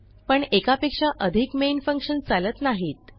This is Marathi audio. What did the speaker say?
पण एकापेक्षा अधिक मेन फंक्शन चालत नाहीत